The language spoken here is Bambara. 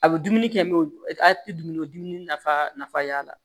A bɛ dumuni kɛ a tɛ dumuniko dumunif nafa y'a la